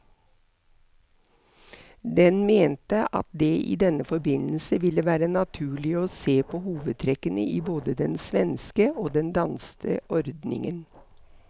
Den mente at det i denne forbindelse ville være naturlig å se på hovedtrekkene i både den svenske og den danske ordningen.